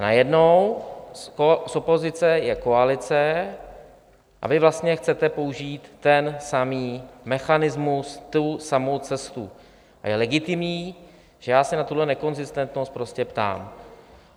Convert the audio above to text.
A najednou z opozice je koalice a vy vlastně chcete použít ten samý mechanismus, tu samou cestu, a je legitimní, že já se na tuhle nekonzistentnost prostě ptám.